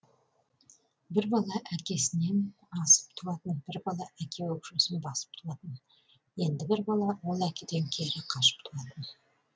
бір бала әкесінен асып туатын бір бала әке өкшесін басып туатын енді бір бала бар ол әкеден кері қашып туатын